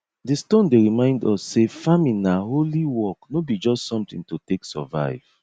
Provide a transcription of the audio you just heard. di stone dey remind us say farming na holy work no be just something to take survive